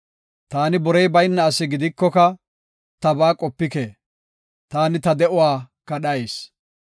Taani borey bayna asi gidikoka tabaa qopike; taani ta de7uwa kadhayis.